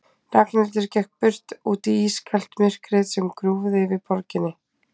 Ragnhildur gekk burt, út í ískalt myrkrið sem grúfði yfir borginni.